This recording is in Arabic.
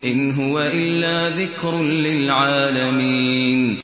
إِنْ هُوَ إِلَّا ذِكْرٌ لِّلْعَالَمِينَ